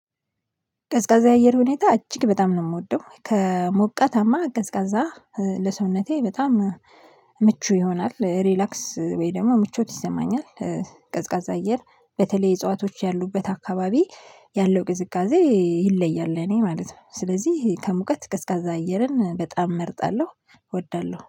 ቀዝቃዛ የአየር ሁኔታ እጅግ በጣም ነው የምወደው ከሞቀታማ ቀዝቃዛ ለሰውነቴ በጣም ምቹ ይሆናል ሪላክስ ወይ ደግሞ ምቾት ይሰማኛል። ቀዝቃዛ አየር በተለይ እጽዋቶች ያሉበት አካባቢ ያለው ቅዝቃዜ ይለያል ለእኔ ማለት ነው። ስለዚህ ከሙቀት ቀዝቃዛ አየርን በጣም እመርጣለሁ እወዳለሁ